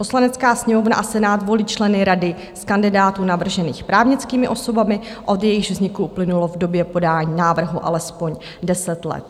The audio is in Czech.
Poslanecká sněmovna a Senát volí členy rady z kandidátů navržených právnickými osobami, od jejichž vzniku uplynulo v době podání návrhu alespoň deset let.